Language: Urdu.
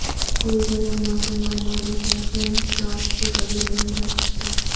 کوئی گرم موسم گرما میں فیشن شارٹس کے بغیر نہیں کر سکتا